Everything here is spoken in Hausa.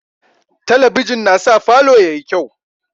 Talabijin na sa falo yayi kyau